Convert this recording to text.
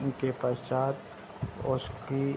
इनके पश्चात ओसकी --